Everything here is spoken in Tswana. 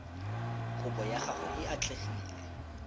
kopo ya gago e atlegile